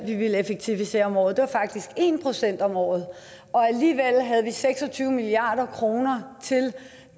vi ville effektivisere om året det var faktisk en procent om året og alligevel havde vi seks og tyve milliard kroner til